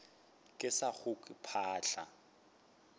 ke sa go kwe phaahla